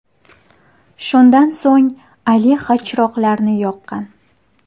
Shundan so‘ng Alexa chiroqlarni yoqqan.